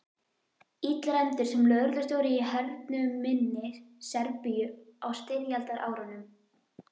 Illræmdur sem lögreglustjóri í hernuminni Serbíu á styrjaldarárunum.